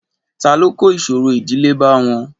ta ló kò ìṣòro ìdílé bá wọn?